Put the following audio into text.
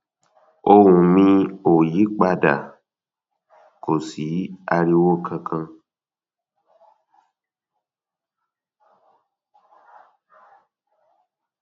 ohùn mi ò yí pa dà kò sí ariwo kankan